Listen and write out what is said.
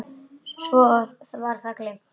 Svo var það gleymt.